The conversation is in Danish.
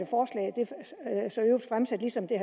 ligesom det